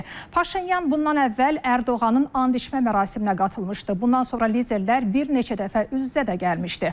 Paşinyan bundan əvvəl Ərdoğanın and içmə mərasiminə qatılmışdı, bundan sonra liderlər bir neçə dəfə üz-üzə də gəlmişdi.